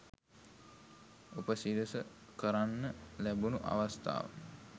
උපසිරස කරන්න ලැබුණු අවස්ථාව